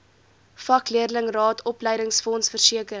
vakleerlingraad opleidingsfonds versekering